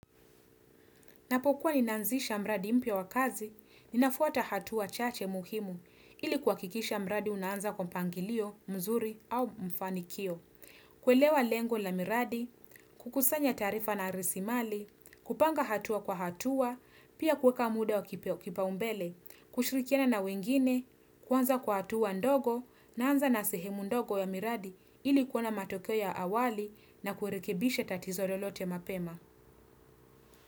Napokuwa ninaanzisha mradi mpia wakazi, ninafuata hatua chache muhimu ili kwa kikisha mradi unaanza kwa pangilio, mzuri au mfanikio. Kwelewa lengo la miradi, kukusanya tarifa na arisimali, kupanga hatua kwa hatua, pia kweka mude wa kipao umbele, kushirikiana na wengine, kwanza kwa hatua ndogo, naanza na sehemu ndogo ya miradi ili kuona matokeo ya awali na kuerekebishe tatizo lolote mapema.